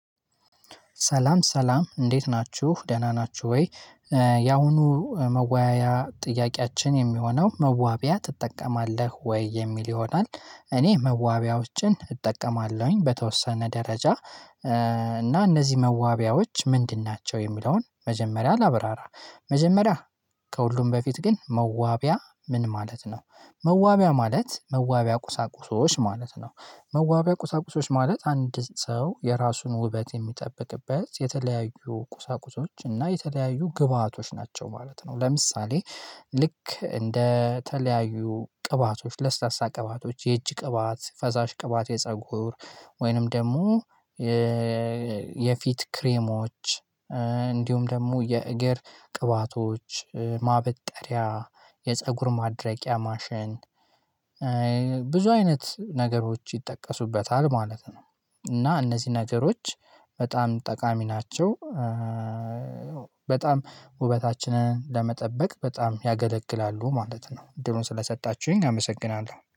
ሰላም ሰላም እንዴት ናችሁ ደህና ናችሁ ወይ? ያሁኑ መወያያ ጥያቄያችን የሚሆነው መዋቢያ ትጠቀማለህ ወይ የሚል ይሆናል? እኔ መዋቢያዎችን እጠቀማለሁኝ በተወሰነ ደረጃ። እና እነዚህ መዋቢያዎች ምንድን ናቸው የሚለውን መጀመሪያ ላብራራ። መጀመሪያ ከሁሉም በፊት ግን መዋቢያ ምን ማለት ነው? መዋቢያ ማለት መዋቢያ ቁሳቁሶች ማለት ነው። መዋቢያ ቁሳቁሶች ማለት አንድ ሰው የራሱን ውበት የሚጠብቅበት የተለያዩ ቁሳቁሶች እና የተለያዩ ግብአቶች ናቸው ማለት ነው። ለምሳሌ። ልክ እንደ ተለያዩ ቅባቶች ለስላሳ ቅባቶች የእጅ ቅባት ፈሳሽ ቅባት የፀጉር ወይንም ደግሞ የፊት ክሬሞች። እንዲሁም ደግሞ የእግር ቅባቶች ማበጠሪያ የፀጉር ማድረቂያ ማሸን አይነት ነገሮች ይጠቀሱበታል ማለት ነው። እና እነዚህ ነገሮች በጣም ጠቃሚ ናቸው። በጣም ውበታችንን ለመጠበቅ በጣም ያገለግላሉ ማለት ነው። እድሉን ስለሰጣችሁኝ አመሰግናለሁ